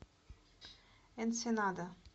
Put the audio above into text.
энсенада